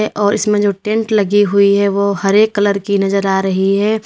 ये और इसमें जो टेंट लगी हुई है वो हरे कलर की नजर आ रही है।